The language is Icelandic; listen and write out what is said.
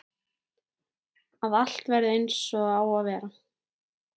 Að allt verði einsog það á að vera.